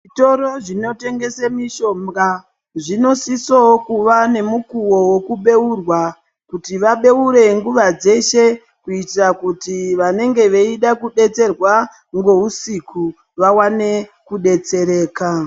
Toro zvinotengese mishonga zvinosisowo kuva nemukuwo wekubeurwa kuti vabeure nguwa dzeshe kuitira kuti vanenge veida kudetserwa ngeusiku vawane kudetsereka.